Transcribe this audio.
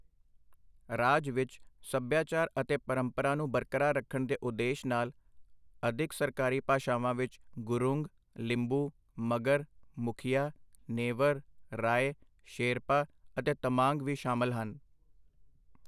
ਰਾਜ ਵਿੱਚ ਸਭਿਆਚਾਰ ਅਤੇ ਪਰੰਪਰਾ ਨੂੰ ਬਰਕਰਾਰ ਰੱਖਣ ਦੇ ਉਦੇਸ਼ ਨਾਲ ਅਧਿਕ ਸਰਕਾਰੀ ਭਾਸ਼ਾਵਾਂ ਵਿੱਚ ਗੁਰੂੰਗ, ਲਿੰਬੂ, ਮਗਰ, ਮੁਖੀਆ, ਨੇਵਰ, ਰਾਏ, ਸ਼ੇਰਪਾ ਅਤੇ ਤਮਾਂਗ ਵੀ ਸ਼ਾਮਲ ਹਨ।